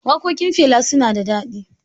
Waƙoƙin Fela su na da daɗi.